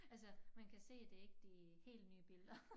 Altså man kan se det ikke de helt nye billeder